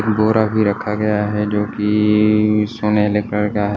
बोरा भी रखा गया है जो कि सुनहरे कलर का है।